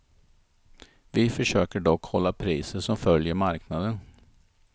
Vi försöker dock hålla priser som följer marknaden.